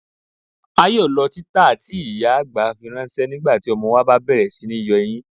À yóò lọ̀ titàá tí ìyá-àgbà fíranṣẹ̀ nígbàtí ọmọ wa bá bẹ̀rẹ̀ sí ní yọ eyin.